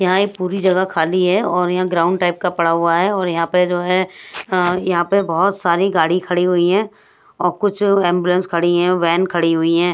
यहां एक पूरी जगह खाली है और यहां ग्राउंड टाइप का पड़ा हुआ है और यहां पे जो है यहां पे बहोत सारी गाड़ी खड़ी हुई हैं और कुछ एंबुलेंस खड़ी हैं वैन खड़ी हुई हैं।